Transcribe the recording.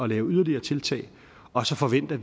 lave yderligere tiltag og så forventer